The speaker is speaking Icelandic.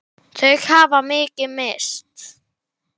Hvað skyldu þau heita?